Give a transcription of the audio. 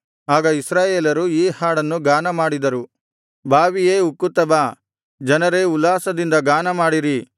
ಆಗ ಇಸ್ರಾಯೇಲರು ಈ ಹಾಡನ್ನು ಗಾನಮಾಡಿದರು ಬಾವಿಯೇ ಉಕ್ಕುತ್ತಾ ಬಾ ಜನರೇ ಉಲ್ಲಾಸದಿಂದ ಗಾನಮಾಡಿರಿ